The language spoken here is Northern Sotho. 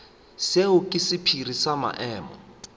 seo ke sephiri sa maemo